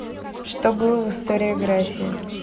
что было в историография